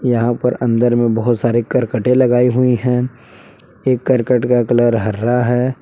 यहां पर अंदर में बहुत सारी करकटें लगाई हुई हैं एक करकट का कलर हरा है।